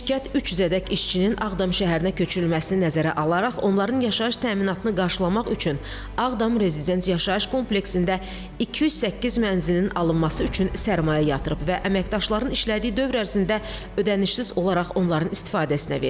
Şirkət 300-ədək işçinin Ağdam şəhərinə köçürülməsini nəzərə alaraq onların yaşayış təminatını qarşılamaq üçün Ağdam Rezident yaşayış kompleksində 208 mənzilin alınması üçün sərmayə yatırıb və əməkdaşların işlədiyi dövr ərzində ödənişsiz olaraq onların istifadəsinə verib.